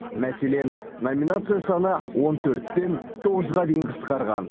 мәселен номинация саны он төрттен тоғызға дейін қысқарған